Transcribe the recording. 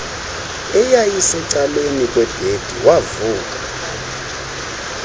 eyayisecaleni kwebhedi wavuka